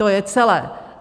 To je celé.